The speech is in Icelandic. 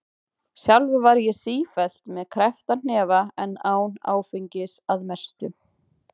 Sjálfur var ég sífellt með kreppta hnefa en án áfengis- að mestu.